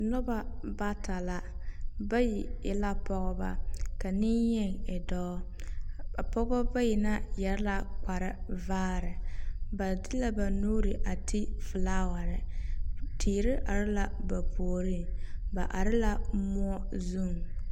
Noba bata la. Bayi e la pɔgeba, ka neŋyeni e dɔɔ. a pɔgeba bayi na yɛre la kparevaare. Ba de ba nuuri a ti felaaware. Teere are la ba puoriŋ. Ba are la moɔ zuŋ.